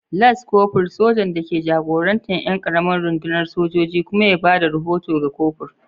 Las Kofur, sojan da ke jagorantar ƴan ƙaramar rundunar sojoji kuma ya ba da rahoto ga kofur.